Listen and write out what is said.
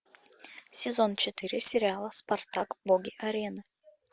сезон четыре сериала спартак боги арены